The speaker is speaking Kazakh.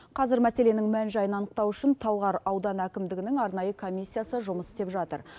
қазір мәселенің мән жайын анықтау үшін талғар ауданы әкімдігінің арнайы комиссиясы жұмыс істеп жатыр